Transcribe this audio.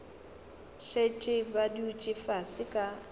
šetše ba dutše fase ba